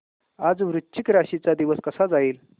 आज वृश्चिक राशी चा दिवस कसा जाईल